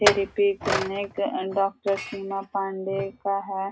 Therapy clinic and doctor Seema Pandey का है।